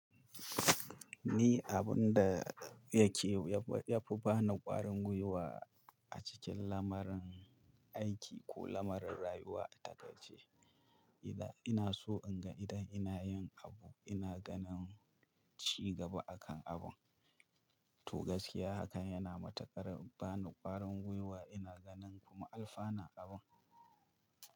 Ni abun da yake yi yafi bani ƙwarin gwiwa a cikin lamarin aiki ko lamarin rayuwa a takaice. Ina so in ga idan ina yin abu, ina ganin ci gaba akan abun. To gaskiya hakan yana mataƙar bani ƙwarin gwiwa ina ganin kuma alfana abun.